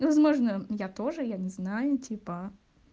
возможно я тоже я не знаю типа